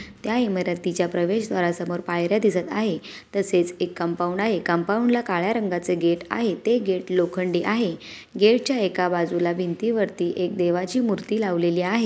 त्या इमारतीच्या प्रवेशद्वारासमोर पायऱ्या दिसत आहेत तसेच एक कंपाउंड आहे कंपाउंड ला काळ्या रंगाचे गेट आहे ते गेट लोखंडी आहे गेट च्या एका बाजूला भिंतीवरती एक देवाची मूर्ती लावलेली आहे.